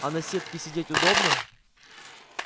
а на сетке сидеть удобно